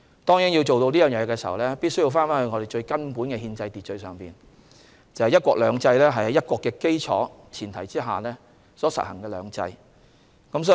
當然，要達到這個目標必須回到最根本的憲制秩序，即"一國兩制"是在"一國"的基礎和前提下所實行的"兩制"。